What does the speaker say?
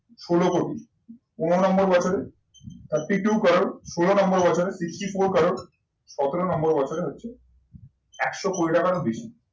ষোলো কোটি, পনেরো নম্বর বছরে thirty two crore, ষোলো নম্বর বছরে fifty four crore, সতেরো নম্বর বছরে হচ্ছে একশো কোটি টাকার বেশি।